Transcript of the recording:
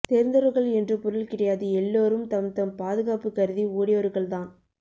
தெரிந்தவர்கள் என்று பொருள் கிடையாது எல்லோரும் தம் தம் பாதுகாப்பு கருதி ஓடியவர்கள்தான்